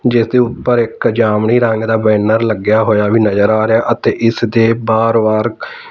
ਜਿਸ ਦੇ ਉੱਪਰ ਇੱਕ ਜਾਮਨੀ ਰੰਗ ਦਾ ਬੈਨਰ ਲੱਗਿਆ ਹੋਇਆ ਵੀ ਨਜ਼ਰ ਆ ਰਿਹਾ ਅਤੇ ਇਸ ਦੇ ਬਾਹਰ ਵਾਰ--